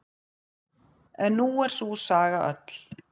En nú er sú saga öll.